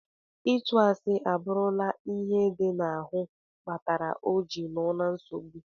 Itụ asi aburula ihe di na ahu kpatara ojiri noo na nsogbu.